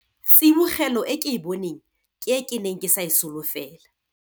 Tsibogelo e ke e boneng ke e ke neng ke sa e solofela.